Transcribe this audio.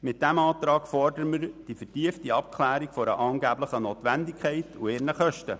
Mit diesem Antrag fordern wir die vertiefte Abklärung einer angeblichen Notwendigkeit und deren Kosten.